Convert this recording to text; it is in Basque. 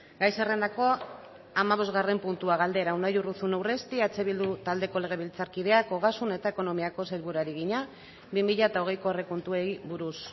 gai zerrendako hamabosgarren puntua galdera unai urruzuno urresti eh bildu taldeko legebiltzarkideak ogasun eta ekonomiako sailburuari egina bi mila hogeiko aurrekontuei buruz